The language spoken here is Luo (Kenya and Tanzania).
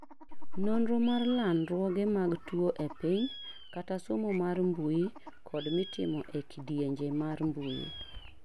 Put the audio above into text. Nonro mar landruoge mag tuo epiny kata somo mar mbuyi kod mitimo e kidienje mar mbuyi